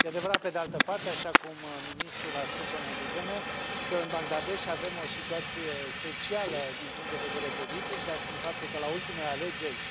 E adevărat, pe de altă parte, așa cum ministrul a spus o mai devreme, că în Bangalesh avem o situație specială din punct de vedere politic, dat fiind faptul că, la ultimele alegeri,